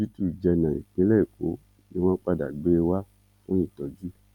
òsibítù jẹnà ìpínlẹ èkó ni wọn padà gbé e wá fún ìtọjú